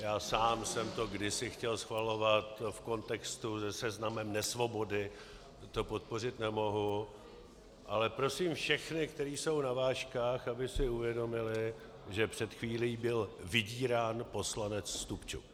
Já sám jsem to kdysi chtěl schvalovat, v kontextu se Seznamem nesvobody to podpořit nemohu, ale prosím všechny, kteří jsou na vážkách, aby si uvědomili, že před chvílí byl vydírán poslanec Stupčuk.